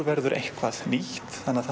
verður eitthvað nýtt þannig að